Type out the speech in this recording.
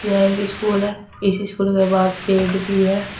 यह एक स्कूल है इस स्कूल के बाहर पेड़ भी हैं।